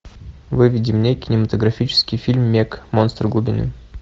выведи мне кинематографический фильм мег монстр глубины